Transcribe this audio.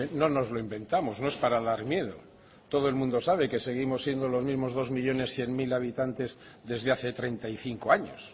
no nos lo inventamos no es para dar miedo todo el mundo sabe que seguimos siendo los mismos dos millónes cien mil habitantes desde hace treinta y cinco años